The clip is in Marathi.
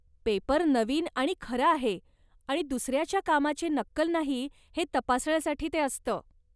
पेपर नवीन आणि खरा आहे आणि दुसऱ्याच्या कामाची नक्कल नाही हे तपासण्यासाठी ते असतं.